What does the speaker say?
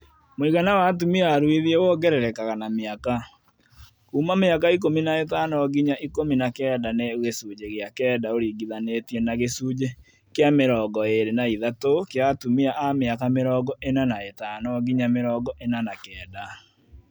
Mũigana wa atumia aruithie wongererekaga na mĩaka. Kuuma mĩaka ikũmi na ĩtano nginya ikũmi na kenda nĩ gĩcunjĩ gĩa kenda ũringithanĩtie na gĩcunjĩ kĩa mĩrongo ĩĩrĩ na ithatũ kĩa atumia a mĩaka mĩrongo ĩna na ĩtano nginya mĩrongo ĩna na kenda